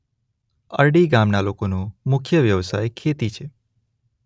અરડી ગામના લોકોનો મુખ્ય વ્યવસાય ખેતી છે.